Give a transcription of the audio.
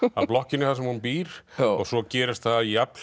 blokkinni þar sem hún býr svo gerist það jafnhliða